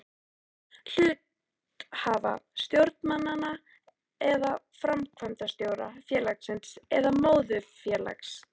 hluthafa, stjórnarmanna eða framkvæmdastjóra félagsins eða móðurfélags þess.